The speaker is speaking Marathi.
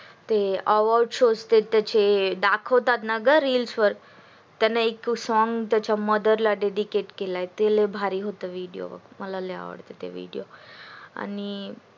ते दाखवतात ना reels वर त्यांनी त्याचा एक song त्याच्या mother ला dedicate केलय ले भारी हॉट विडियो मला ले आवडले त्याचे ते विडियो आणि